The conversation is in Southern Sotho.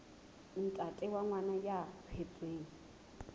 ntate wa ngwana ya tswetsweng